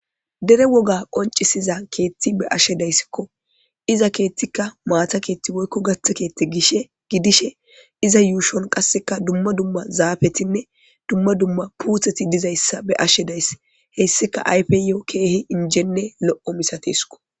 Dere woga qoncisiza keethti be ashe dayssikko iza keethtikka maata keethti woykko gatha keethte gishe gidishe iza yuushon qasseka dumma dumma zaafetinne dumma dumma puutheti dizayssa be ashe dayss hessika ayfeyoo keehi injenne lo'o misatesiko.